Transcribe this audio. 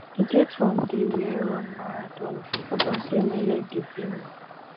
e get one day wey i run marathon upon sey my leg dey pain me